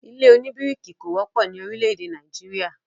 ilé òní bíríkì kò wọ́pọ̀ ni orílè-èdè Nàìjíríà